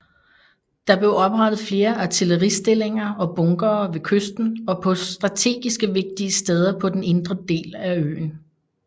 Der blev oprettet flere artilleristillinger og bunkere ved kysten og på strategiske vigtige steder på den indre del af øen